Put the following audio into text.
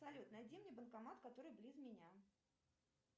салют найди мне банкомат который близ меня